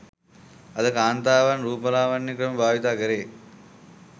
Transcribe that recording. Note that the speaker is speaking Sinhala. අද කාන්තාවන් රූපලාවන්‍ය ක්‍රම භාවිතය කෙරේ